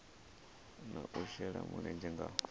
na u shela mulenzhe nga